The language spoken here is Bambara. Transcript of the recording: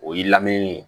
O y'i lamini ye